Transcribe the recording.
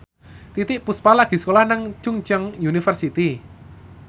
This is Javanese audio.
Titiek Puspa lagi sekolah nang Chungceong University